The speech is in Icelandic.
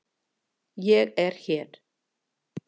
Ég er hér.